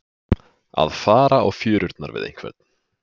Að fara á fjörurnar við einhvern